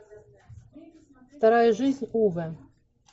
вторая жизнь уве